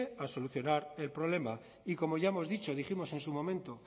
a solucionar el problema y como ya hemos dicho dijimos en su momento